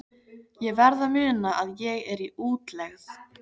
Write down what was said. Ég verð að muna að ég er í útlegð.